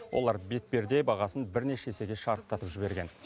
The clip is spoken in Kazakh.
олар бетперде бағасын бірнеше есеге шарықтатып жіберген